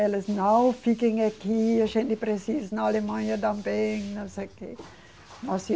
Eles, não, fiquem aqui, a gente precisa ir na Alemanha também, não sei o quê.